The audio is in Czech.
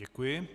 Děkuji.